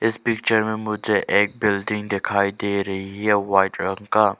इस पिक्चर में मुझे एक बिल्डिंग दिखाई दे रही है व्हाइट रंग का।